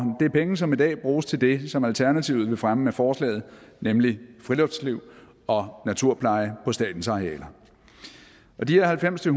det er penge som i dag bruges til det som alternativet vil fremme med forslaget nemlig friluftsliv og naturpleje på statens arealer og de her halvfems til